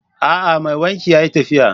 A'a! Mai wanki yayi tafiya.